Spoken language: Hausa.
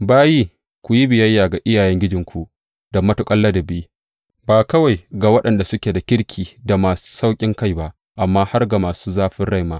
Bayi, ku yi biyayya ga iyayengijinku da matuƙar ladabi, ba kawai ga waɗanda suke da kirki da masu sauƙinkai ba, amma har ga masu zafin rai ma.